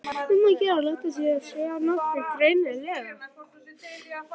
Um að gera að láta sjá sig nógu greinilega!